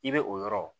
I bɛ o yɔrɔ